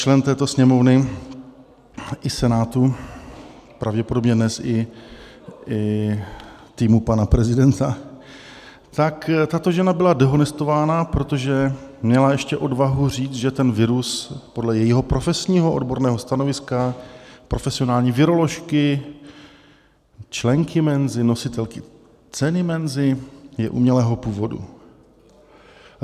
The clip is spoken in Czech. člen této Sněmovny i Senátu, pravděpodobně dnes i týmu pana prezidenta, tak tato žena byla dehonestována, protože měla ještě odvahu říct, že ten virus, podle jejího profesního odborného stanoviska profesionální viroložky, členky Menzy, nositelky ceny Menzy, je umělého původu.